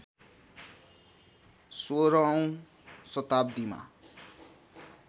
१६ औँ शताब्दीमा